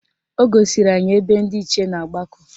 O gosiri anyị ebe ndị Ichie na-agbakọ